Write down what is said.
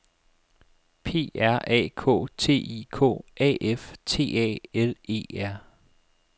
P R A K T I K A F T A L E R